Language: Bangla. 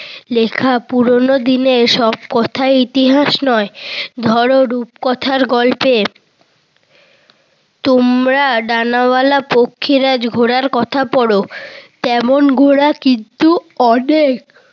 লেখা পুরোনো দিনের সব কথা ইতিহাস নয়। ধর রূপ কথার গল্পের তোমরা ডানাওয়ালা পঙ্খিরাজ ঘোড়ার কথা পড়। তেমন ঘোড়া কিন্তু অনেক